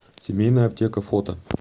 семейная аптека фото